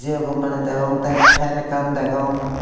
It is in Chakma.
jio company degong the fen ekkan degong.